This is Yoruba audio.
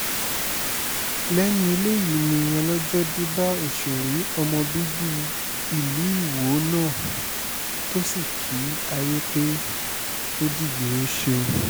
lẹ́nu eléyìí ni ọlọ́jọ́ dé bá òṣèré ọmọ bíbí ìlú iwọ náà tó sì kí ayé pé ó dìgbòóṣe